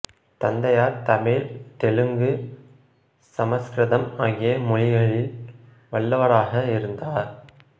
தந்தையார் தமிழ் தெலுங்கு சமக்கிருதம் ஆகிய மொழிகளில் வல்லவராக இருந்தார்